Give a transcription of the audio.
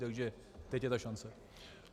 Takže teď je ta šance.